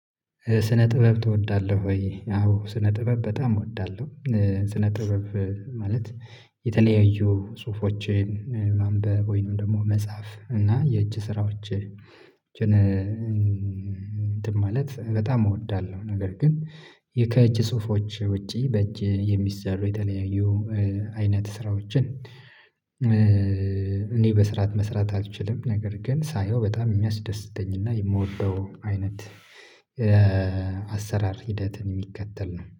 ስነ ጥበብ ትወዳለህ ወ? ያው ስነ ጥበብ በጣም እወዳለሁ፤ ስነ ጥበብ ማለት የተለያዩ ጽሁፎችን ማንበብ ወይንም ደግሞ መጻፍ እና የእጅ ስራዎችን እንትን ማለት በጣም እወዳለሁ ነገር ግን ከእጅ ጽሁፎች ውጪ በእጅ የሚሰሩ የተለያዩ አይነት ስራዎችን እኔ በስራት መስራት አልችልም ነገር ግን ሳየው በጣም የሚያስደስተኝና የምወደው አይነት አሰራር ሂደትን የሚከተል ነው።